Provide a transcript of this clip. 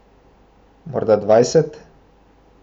Morda dvajset?